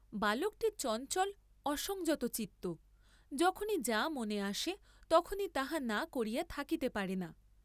বালকটি চঞ্চল অসংযতচিত্ত, যখনি যা মনে আসে তখনি তাহা না করিয়া থাকিতে পারে না।